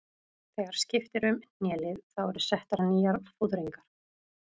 Þegar skipt er um hnélið þá eru settar nýjar fóðringar.